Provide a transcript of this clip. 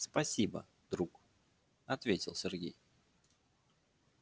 спасибо друг ответил сергей